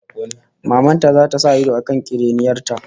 Maman ta zata sa ido kan kiriniyar ta